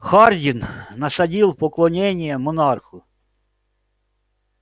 хардин насадил поклонение монарху